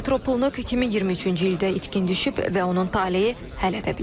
Dimitro Pulnuk 2023-cü ildə itkin düşüb və onun taleyi hələ də bilinmir.